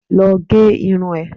Lọ gé irun ẹ!